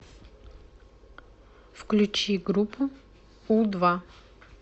включи группу у два